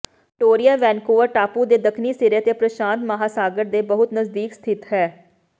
Victoria Vancouver ਟਾਪੂ ਦੇ ਦੱਖਣੀ ਸਿਰੇ ਤੇ ਪ੍ਰਸ਼ਾਂਤ ਮਹਾਂਸਾਗਰ ਦੇ ਬਹੁਤ ਨਜ਼ਦੀਕ ਸਥਿਤ ਹੈ